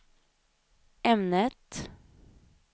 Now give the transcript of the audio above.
ämnet